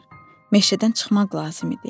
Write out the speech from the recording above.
Meşədən çıxmaq lazım idi.